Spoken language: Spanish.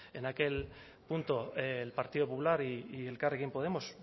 en aquel punto el partido popular y elkarrekin podemos